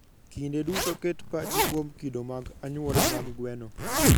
Kinde duto ket pachi kuom kido mag anyuola mag gweno.